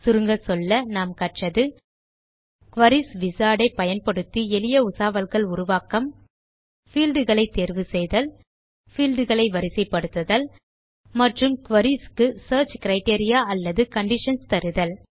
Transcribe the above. சுருங்கச்சொல்ல கற்றது குரீஸ் Wizardயை பயன்படுத்தி எளிய உசாவல்கள் உருவாக்கம் பீல்ட் களை தேர்வு செய்தல் பீல்ட் களை வரிசைப்படுத்துதல் மற்றும் குரீஸ் க்கு சியர்ச் கிரைட்டீரியா அல்லது கண்டிஷன்ஸ் தருதல்